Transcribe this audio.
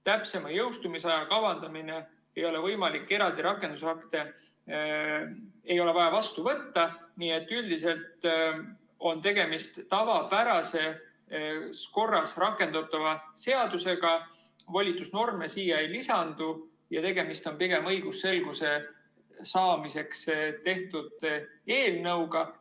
Täpsema jõustumisaja kavandamine ei ole võimalik, eraldi rakendusakte ei ole vaja vastu võtta, nii et üldiselt on tegemist tavapärases korras rakendatava seadusega, volitusnorme siia ei lisandu ja tegemist on pigem õigusselguse saamiseks tehtud eelnõuga.